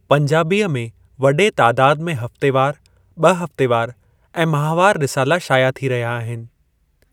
पंजाबीअ में वॾे तादादु में हफ्तेवारु, ॿि हफ्तेवारु ऐं माहवारु रिसाला शाया थी रहिया आहिनि।